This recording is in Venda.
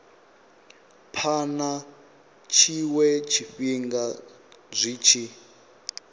phana tshiwe tshifhinga zwi tshi